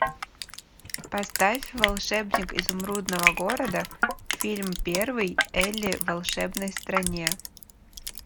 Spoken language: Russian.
поставь волшебник изумрудного города фильм первый элли в волшебной стране